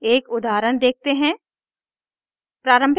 एक उदाहरण देखते हैं